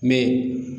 Mɛ